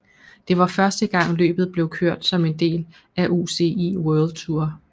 Det var første gang løbet blev kørt som en del af UCI World Tour